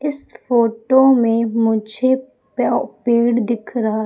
इस फोटो में मुझे पेड़ दिख रहा--